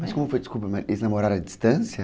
Mas como foi, desculpa, mas eles namoraram à distância?